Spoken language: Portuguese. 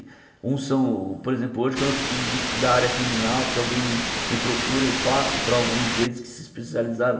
Uns são por exemplo, hoje quando eu preciso de da área criminal, se alguém me me procura, eu passo para alguns deles que se especializaram